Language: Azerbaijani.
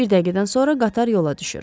Bir dəqiqədən sonra qatar yola düşür.